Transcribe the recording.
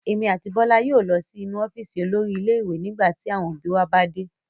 Èmi àti Bọ́lá yóò lọ sí inú ọ́fíísì olórí ilé-ìwé nígbà tí àwọn òbí wa bá dé.